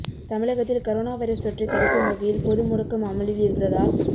தமிழகத்தில் corona virus தொற்றை தடுக்கும் வகையில் பொதுமுடக்கம் அமலில் இருந்ததால்